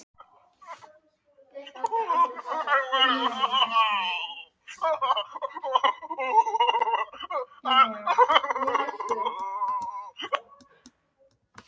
Þeirra lækur rennur alltaf sömu leið.